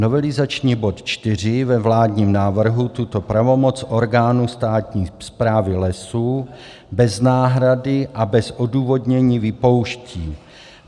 Novelizační bod 4 ve vládním návrhu tuto pravomoc orgánu státní správy lesů bez náhrady a bez odůvodnění vypouští.